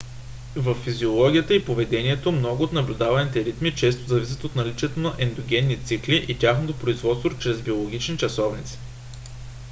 във физиологията и поведението много от наблюдаваните ритми често зависят от наличието на ендогенни цикли и тяхното производство чрез биологични часовници